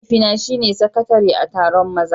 Mahaifina shine sakatare a taron maza.